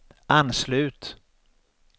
anslut